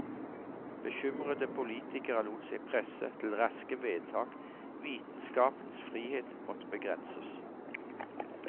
Bekymrede politikere lot seg presse til raske vedtak, vitenskapens frihet måtte begrenses.